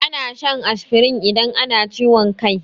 Ana shan asfirin idan ana ciwon kai.